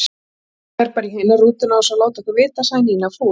Hún fer bara í hina rútuna án þess að láta okkur vita, sagði Nína fúl.